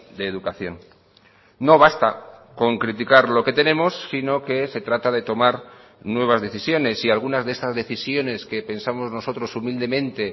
de educación no basta con criticar lo que tenemos sino que se trata de tomar nuevas decisiones y algunas de estas decisiones que pensamos nosotros humildemente